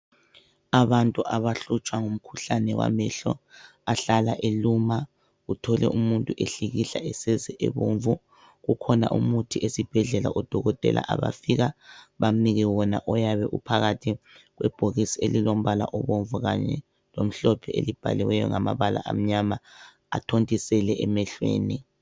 Abantu abahlutshwa ngumkhuhlane wamehlo ahlala eluma uthole umuntu ehlikihla eseze ebomvu .Ukhona umuthi esibhedlela odokotela abafika bamnike wona oyabe uphakathi kwebhokisi elilombala obomvu kanye lomhlophe elibhaliweyo ngamabala amnyama athontisele emehlweni.